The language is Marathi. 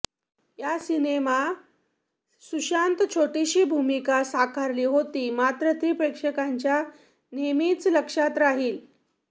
या सिनेमा सुशांत छोटीशी भूमिका साकारली होती मात्र ती प्रेक्षकांच्या नेहमीच लक्षात राहिली